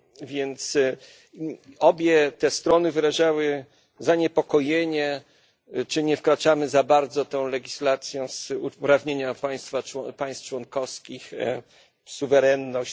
Więc obie te strony wyrażały zaniepokojenie, czy nie wkraczamy za bardzo tą legislacją w uprawnienia państw członkowskich, w ich suwerenność.